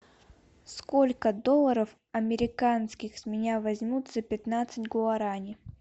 сколько долларов американских с меня возьмут за пятнадцать гуарани